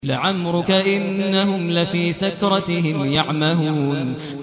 لَعَمْرُكَ إِنَّهُمْ لَفِي سَكْرَتِهِمْ يَعْمَهُونَ